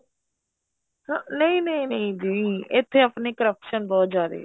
ਹਾਂ ਨਹੀ ਨਹੀਂ ਨਹੀਂ ਜੀ ਇੱਥੇ ਆਪਣੇ corruption ਬਹੁਤ ਜਿਆਦੇ ਏ